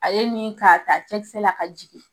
A ye min k'a ta cɛkisɛ la ka jigin